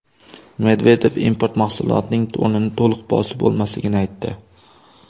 Medvedev import mahsulotning o‘rnini to‘liq bosib bo‘lmasligini aytdi.